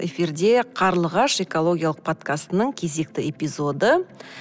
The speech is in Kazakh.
эфирде қарлығаш экологиялық подкастының кезекті эпизоды